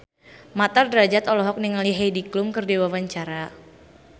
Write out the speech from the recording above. Mat Drajat olohok ningali Heidi Klum keur diwawancara